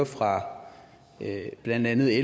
fra blandt andet